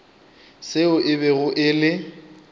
seo e bego e le